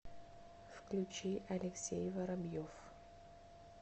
включи алексей воробьев